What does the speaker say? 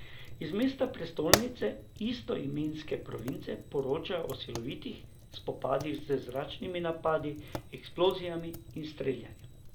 Iz mesta, prestolnice istoimenske province, poročajo o silovitih spopadih z zračnimi napadi, eksplozijami in streljanjem.